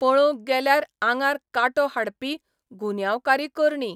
पळोवंक गेल्यार आंगार कांटो हाडपी गुन्यांवकारी करणी.